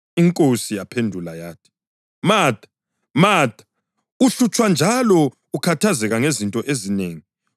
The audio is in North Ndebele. INkosi yaphendula yathi, “Matha, Matha, uhlutshwa njalo ukhathazeke ngezinto ezinengi,